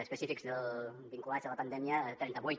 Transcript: específics vinculats a la pandèmia trenta vuit